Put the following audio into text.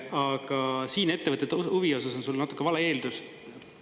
Aga siin ettevõtete huvi osas on sul natuke vale eeldus.